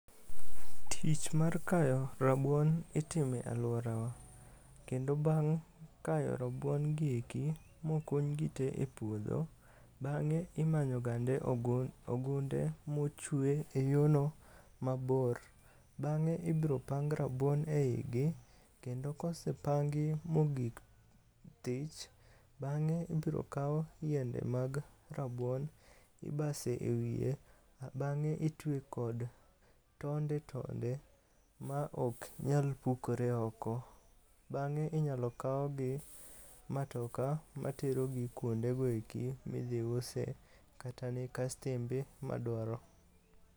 Tich mar kayo rabuon itimo e alworawa, kendo bang' kayo rabuongi eki mokuny gite e puodho, bang'e imanyogande ogunde mochwe e yono mabor. Bang'e ibropang rabuon e igi kendo kosepangi mogik thich, bang'e ibrokaw yiende mag rabuon ibaso e wiye, bang'e itwe kod tonde tonde maok nyal pukore oko. Bang'e inyalo kawgi matoka materogi kuondego eki midhiuse kata ne kastembe madwaro.